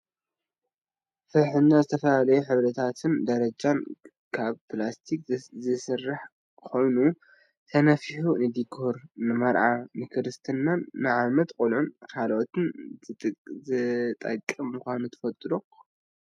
ፍሕኛ ብዝተፈላለዩ ሕብርታትን ደረጃን ካብ ፕላስቲክ ዝስራሕ ኮይኑ ተነፊሒ ንዲኮር ንመርዓን ንክርስትና፣ ንዓመት ቆልዓን ካልእን ዝጠቅም ምኳኑ ትፈልጡ ዶ ?